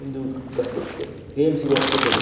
ಉಂದು KMC hospital .